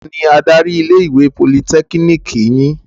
Tani adarí ilé-ìwé Politẹ́kínìkì yín?